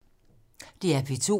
DR P2